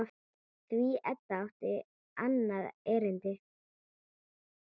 Því Edda átti annað erindi.